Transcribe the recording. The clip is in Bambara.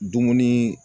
Dumuni